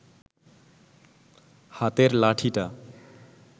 হাতের লাঠিটা